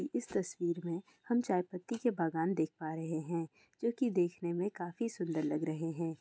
इस तस्वीर में हम चाय पत्ती के बागान देख पा रहै है। जो की देखने में काफी सुन्दर लग रहै है।